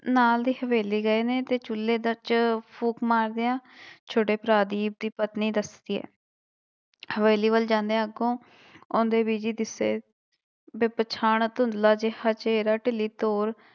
ਨਾਲ ਦੀ ਹਵੇਲੀ ਗਏ ਨੇ ਤੇ ਚੁੱਲੇ ਵਿੱਚ ਫ਼ੂਕ ਮਾਰਦਿਆਂ ਛੋਟੇ ਭਰਾ ਦੀ, ਦੀ ਪਤਨੀ ਦੱਸਦੀ ਹੈ ਹਵੇਲੀ ਵੱਲ ਜਾਂਦੇ ਅੱਗੋਂ ਆਉਂਦੇ ਬੀਜੀ ਦਿਸੇ ਬੇਪਛਾਣ ਧੁੰਦਲਾ ਜਿਹ ਚਿਹਰਾ, ਢਿੱਲੀ ਤੌਰ,